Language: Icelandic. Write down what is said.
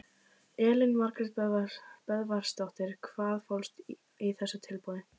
Elín Margrét Böðvarsdóttir: Hvað fólst í þessu tilboði?